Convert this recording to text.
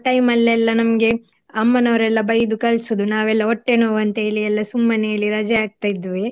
ಅಲ್ಲಿ ಎಲ್ಲ ನಮ್ಗೆ ಅಮ್ಮನವರೆಲ್ಲ ಬೈದು ಕಳ್ಸುದು ನಾವೆಲ್ಲಾ ಹೊಟ್ಟೆ ನೋವು ಅಂತ ಹೇಳಿ ಎಲ್ಲ ಸುಮ್ಮನೆ ಹೇಳಿ ರಜೆ ಹಾಕ್ತಿದ್ವಿ.